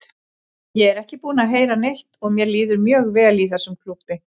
Ég er ekki búinn að heyra neitt og mér líður mjög vel í þessum klúbbi.